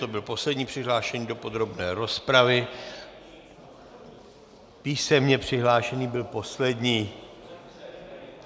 To byl poslední přihlášený do podrobné rozpravy, písemně přihlášený byl poslední.